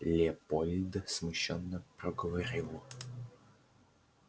лепольд смущённо проговорил